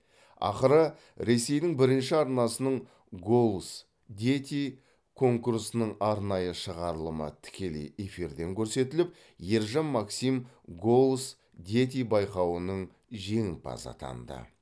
ақыры ресейдің бірінші арнасының голос дети конкурсының арнайы шығарылымы тікелей эфирден көрсетіліп ержан максим голос дети байқауының жеңімпазы атанды